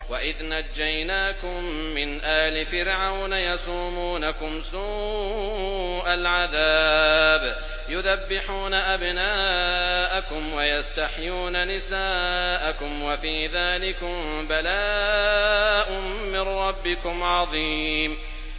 وَإِذْ نَجَّيْنَاكُم مِّنْ آلِ فِرْعَوْنَ يَسُومُونَكُمْ سُوءَ الْعَذَابِ يُذَبِّحُونَ أَبْنَاءَكُمْ وَيَسْتَحْيُونَ نِسَاءَكُمْ ۚ وَفِي ذَٰلِكُم بَلَاءٌ مِّن رَّبِّكُمْ عَظِيمٌ